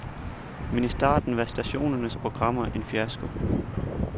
Men i starten var stationernes programmer en fiasko.